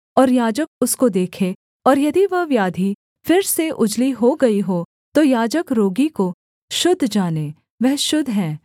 और याजक उसको देखे और यदि वह व्याधि फिर से उजली हो गई हो तो याजक रोगी को शुद्ध जाने वह शुद्ध है